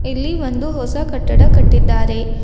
ಇಲ್ಲಿ ಒಂದು ಹೊಸ ಕಟ್ಟಡ ಕಟ್ಟಿದ್ದಾರೆ.